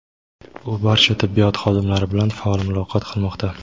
u barcha tibbiyot xodimlari bilan faol muloqot qilmoqda.